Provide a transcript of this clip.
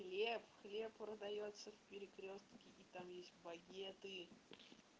хлеб хлеб продаётся в перекрёстке и там есть багеты